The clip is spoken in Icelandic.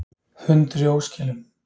Hundur í óskilum